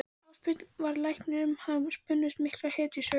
Ásbjörn var læknir og um hann spunnust miklar hetjusögur.